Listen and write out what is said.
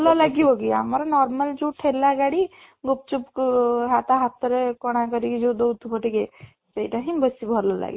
ଭଲ ଲାଗିବ କି ଆମର normal ଯୋଉ ଠେଲା ଗାଡି ଗୁପଚୁପ କୁ ତା ହାତରେ କଣା କରିକି ଯୋଉ ଦେଉଥିବ ଟିକେ ସେଇଟା ହିଁ ବେଶୀ ଭଲ ଲାଗେ